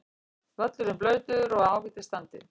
Völlurinn blautur og í ágætis standi.